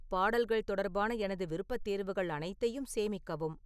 பாடல்கள் தொடர்பான எனது விருப்பத்தேர்வுகள் அனைத்தையும் சேமிக்கவும்